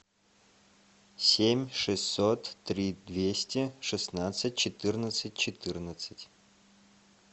семь шестьсот три двести шестнадцать четырнадцать четырнадцать